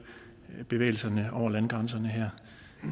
bevægelserne over landegrænserne her